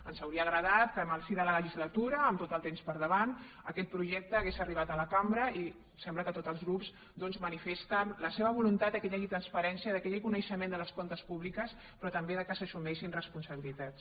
ens hauria agradat que en el si de la legislatura amb tot el temps per davant aquest projecte hagués arribat a la cambra i sembla que tots els grups doncs manifesten la seva voluntat que hi hagi transparència que hi hagi coneixement dels comptes públics però també que s’assumeixin responsabilitats